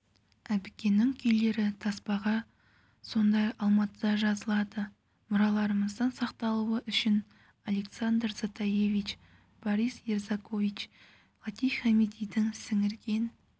әбікеннің күйлері таспаға сонда алматыда жазылады мұраларымыздың сақталуы үшін александр затаевич борис ерзакович латиф хамидилердің сіңірген